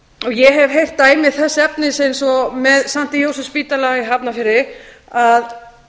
ég hef heyrt dæmi þess efnis eins og með st jósefsspítala í hafnarfirði að